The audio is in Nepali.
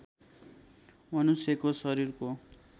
मनुष्यको शरीरको